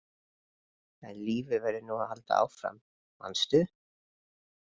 En lífið verður nú samt að halda áfram, manstu!